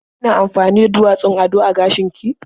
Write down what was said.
Kina amfani da duwatsun ado a gashin ki?